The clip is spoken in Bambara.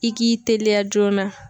I k'i teliya joona.